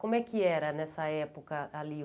Como é que era nessa época ali?